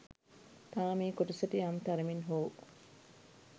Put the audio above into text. තාම ඒ කොටසට යම් තරමින් හෝ